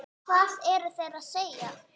Hvað eru þeir að segja?